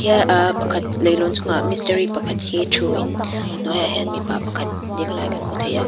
ah pakhat leihlawn chungah mistri pakhat hi thu in a hnuai ah hian mipa pakhat ding lai kan hmu thei a.